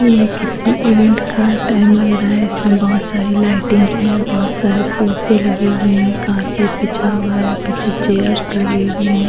यह किसी इवेंट का टाइम लग रहा है इसमें बहुत सारी लाइटिंग हैं बहुत सारे सोफे लगे हुए हैं कारपेट बिछा हुआ है पीछे चेयर्स लगे हुए है।